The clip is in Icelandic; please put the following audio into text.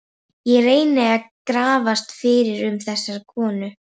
Ég reyndi að grafast fyrir um þessa konu.